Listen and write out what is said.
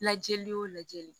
Lajɛli o lajɛli